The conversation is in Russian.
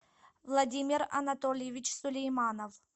владимир анатольевич сулейманов